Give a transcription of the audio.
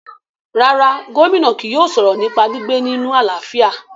rárá, Gómìnà kì yóò sọ̀rọ̀ nípa gbígbé nínu àlàáfíà